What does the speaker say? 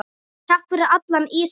Takk fyrir allan ísinn.